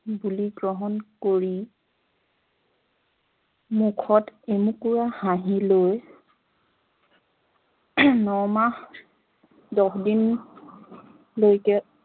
বুলি গ্ৰহণ কৰি মূখত এমুকুৰা হাহিঁ লৈ ন মাহ দহ দিন লৈকে